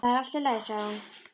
Það er allt í lagi sagði hún.